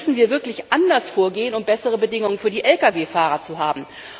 Da müssen wir wirklich anders vorgehen, um bessere Bedingungen für die LKW Fahrer zu schaffen.